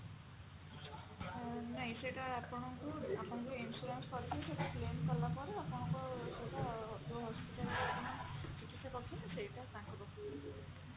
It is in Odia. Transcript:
ଅ ନାଇ ସେଇଟା ଆପଣଙ୍କୁ ଆପଣ ଯଉ insurance କରିଥିବେ ସେଟା claim କଲାପରେ ସେଟା ଆପଣଙ୍କୁ ସେଟା ଯୋଉ hospital ରେ ଆପଣ ଚିକିତ୍ସା କରୁଛନ୍ତି ସେଟା ତାଙ୍କ ପାଖକୁ